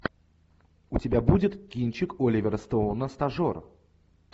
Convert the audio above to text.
у тебя будет кинчик оливера стоуна стажер